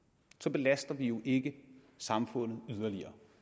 belaster vi jo ikke samfundet yderligere